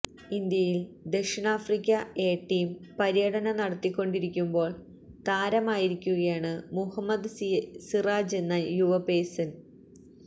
ഇന്ത്യയില് ദക്ഷിണാഫ്രിക്ക A team പര്യടനം നടത്തിക്കൊണ്ടിരിക്കുമ്പോള് താരമായിരിക്കുകയാണ് മുഹമ്മദ് സിറാജെന്ന യുവപേസര്